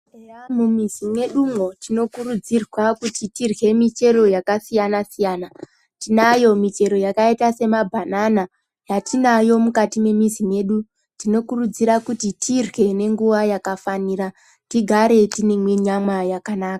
Eya mumizi medu mo, tinokurudzirwa kuti tidlye michero yakasiyana siyana. Tinayo michero yakayita semabhanana, yatinayo mukati memizi medu. Tinokurudzira kuti tidlye nenguwa yakafanira, tigare tine mwinyama yakanaka.